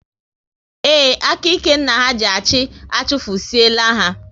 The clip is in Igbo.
Ee, aka ike nna ha ji achị, achufusie la ha